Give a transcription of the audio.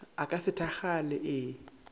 a ka se thakgale ee